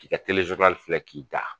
K'i ka telejokali filɛ k'i da.